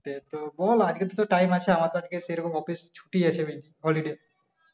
বলোনা আজকে তো টাইম আছে, আমার তো আজকে সেইরকম, আফিস ছুটি আছে holiday ।